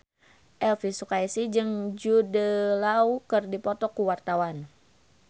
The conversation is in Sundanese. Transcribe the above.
Elvy Sukaesih jeung Jude Law keur dipoto ku wartawan